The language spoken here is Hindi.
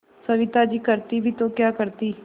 सविता जी करती भी तो क्या करती